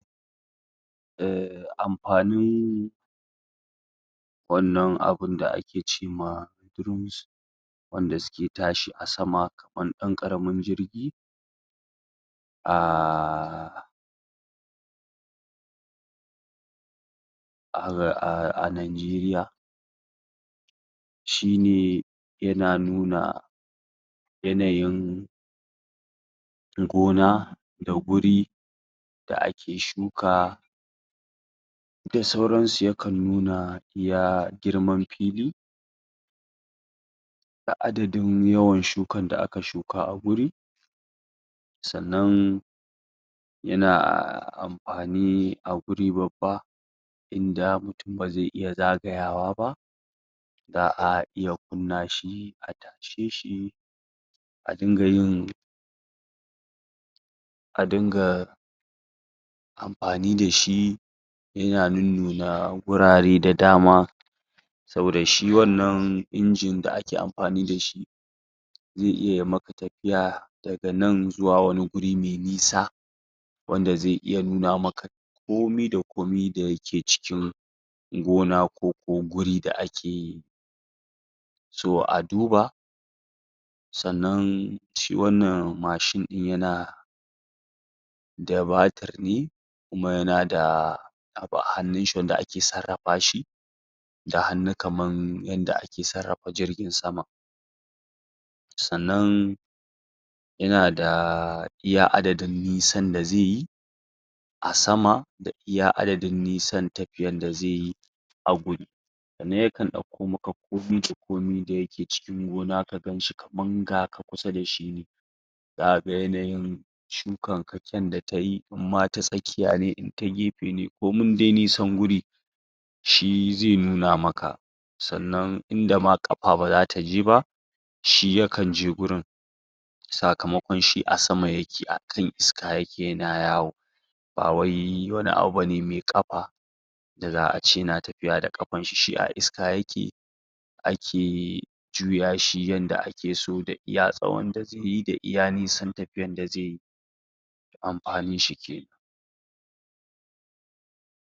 Eh, amfanin wannan abinda ake ce ma drones wanda suke tashi a sama kaman ɗan ƙaramin jirgi ah ah Nigeria shi ne yana nuna yanayin gona da guri da ake shuka da sauran su, yakan nuna iya girman fili da adadin yawan shukan da aka shuka a guri sannan yana amfani da guri babba inda mutun ba zai iya zagayawa ba za'a iya kunna shi a tashe shi a dinga yin a dinga amfani da shi yana nunnuna gurare da dama saboda shi wannan injin ɗin da ake amfani da shi zai iya ya maka tafiya daga nan zuwa wani guri mai nisa wanda zai iya nuna maka komi da komi da yake cikin gona ko ko guri da ake yi so a duba sannan shi wannan mashin ɗin yana da batiri kuma yana da abu a hannun shi wanda ake sarrafa shi da hannu kaman yadda ake sarrafa jirgin sama sannan yana da iya adadin nisan da zai yi a sama da iya adadin nisan tafiyan da zai yi a gun sannan yakan ɗauko maka komai da komai da yake cikin gona ka gan shi kaman ga ka kusa da shi zaka ga yanayin shukan ka, kyan da tayi in ma ta tsakiya ne in ta gefe ne komin dai nisan guri shi zai nuna maka sannan inda ma ƙafa ba zata je ba shi yakan je gurin sakamakon shi a sama yake akan iska yake yana yawo ba wai wani abu bane mai ƙafa da za'a ce yana tafiya da ƙafan shi, shi a iska yake ake juya shi yanda ake so da iya tsawon da zai yi da iya nisan tafiyan da zai yi amfanin shi kenan.